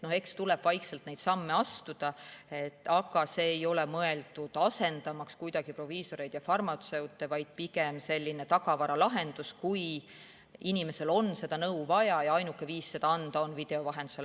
Eks tuleb vaikselt neid samme astuda, aga see ei ole mõeldud kuidagi asendama proviisoreid ja farmatseute, vaid pigem on see selline tagavaralahendus, kui inimesel on nõu vaja ja ainuke viis seda anda on video vahendusel.